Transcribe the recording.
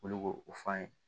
Olu b'o o fɔ an ye